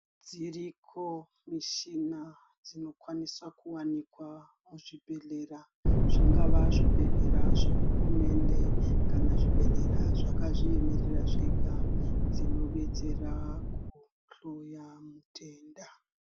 Dziriko michina inokwanisa kuwanikwa Muzvibhedhlera Zvingava zvibhedhlera zvehurumende kana zvibhedhlera zvekumurira zvega kudetsera kuhloya zvitenda.